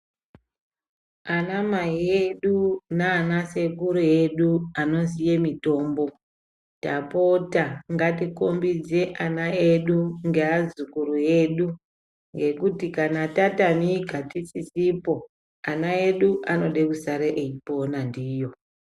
Ana mai edu nana sekuru edu anoziye mitombo, tapota ngatikombidze ana edu ngeazukuru edu ngekuti kana tatamika tisisipo ana edu anode kusara eipona ndiyo.